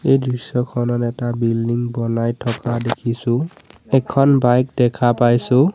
এইটো দৃশ্যখনত এটা বিল্ডিং বনাই থকা দেখিছোঁ এখন বাইক দেখা পাইছোঁ।